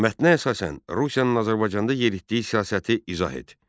Mətnə əsasən Rusiyanın Azərbaycanda yeritdiyi siyasəti izah et.